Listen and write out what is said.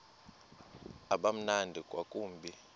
uba mnandi ngakumbi